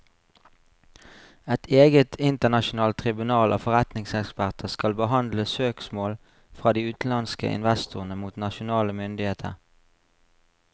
Et eget internasjonalt tribunal av forretningseksperter skal behandle søksmål fra de utenlandske investorene mot nasjonale myndigheter.